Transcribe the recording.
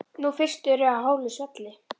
Nú fyrst ertu á hálu svelli.